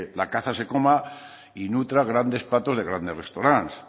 la caza se coma y nutra grandes platos de grandes restaurantes